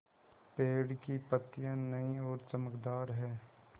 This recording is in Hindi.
पेड़ की पतियां नई और चमकदार हैँ